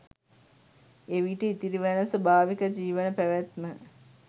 එවිට ඉතිරිවන ස්වාභාවික ජීවන පැවැත්ම